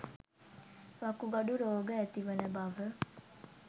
වකුගඩු රෝග ඇතිවන බව